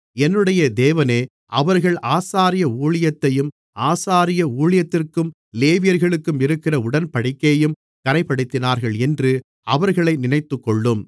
என்னுடைய தேவனே அவர்கள் ஆசாரிய ஊழியத்தையும் ஆசாரிய ஊழியத்திற்கும் லேவியர்களுக்கும் இருக்கிற உடன்படிக்கையையும் கறைப்படுத்தினார்கள் என்று அவர்களை நினைத்துக்கொள்ளும்